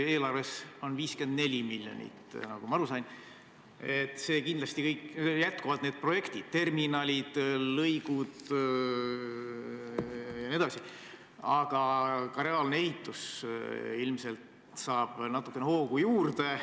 Eelarves on 54 miljonit, nagu ma aru sain, ja kindlasti jätkuvad kõik need projektid, terminalid, lõigud jne, aga ka reaalne ehitus saab ilmselt natuke hoogu juurde.